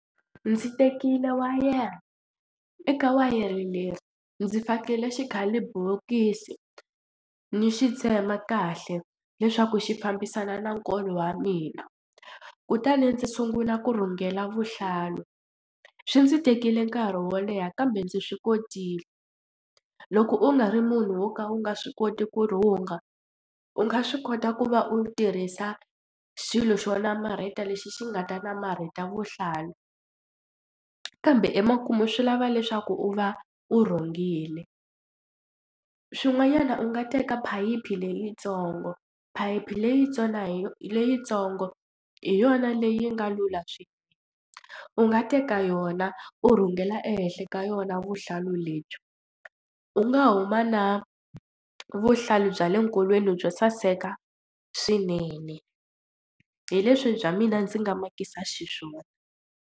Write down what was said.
Ndzi tekile wa wayere eka wayere ndzi fakele xikhalibokisi ni xi tsema kahle leswaku xi fambisana na nkolo wa mina kutani ndzi sungula ku rhungela vuhlalu swi ndzi tekile nkarhi wo leha kambe ndzi swi kotile loko u nga ri munhu wo ka u nga swi koti ku rhunga u nga swi kota ku va u tirhisa xilo xo namarheta lexi xi nga ta namarheta vuhlalu kambe emakumu swi lava leswaku u va u rhungile. Swin'wanyana u nga teka phayiphi leyitsongo phayiphi leyi tsona hi leyitsongo hi yona leyi nga lula swinene u nga teka yona u rhungela ehenhla ka yona vuhlalu lebyi u nga huma na vuhlalu bya le nkolweni byo saseka swinene hi leswi bya mina ndzi nga makisa xiswona.